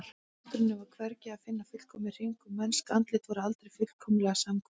Í náttúrunni var hvergi að finna fullkominn hring og mennsk andlit voru aldrei fullkomlega samhverf.